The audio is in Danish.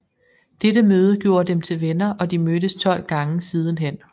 Dette møde gjorde dem til venner og de mødtes 12 gange siden hen